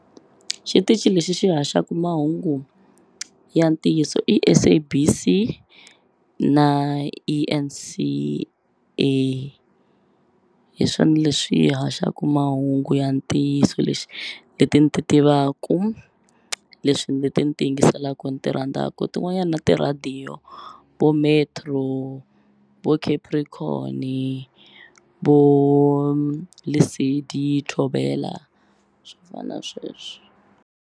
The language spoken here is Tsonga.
Xitichi lexi xi haxaku mahungu ya ntiyiso i SABC na E_N_C_A hi swona leswi haxaku mahungu ya ntiyiso lexi leti ni ti tivaku leswi leti ni ti yingiselaku ni ti rhandzaku tin'wanyani na tirhadiyo vo Metro vo Capricorn-i vo Lesedi Thobela swo fana sweswo.